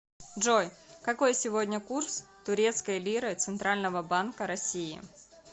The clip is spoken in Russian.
джой какой сегодня курс турецкой лиры центрального банка россии